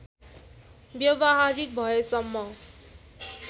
व्यावहारिक भएसम्म